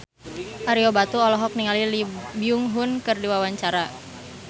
Ario Batu olohok ningali Lee Byung Hun keur diwawancara